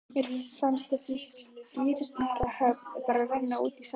Mér fannst þessi skírnarathöfn bara renna útí sandinn.